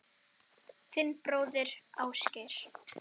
Þinn bróðir, Ásgeir.